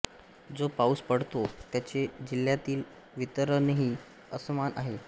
जो पाऊस पडतो त्याचे जिल्ह्यातील वितरणही असमान आहे